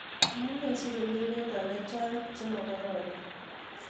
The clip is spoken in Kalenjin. Amuni sigomi miondo chechang chemakararan